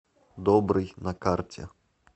добрый на карте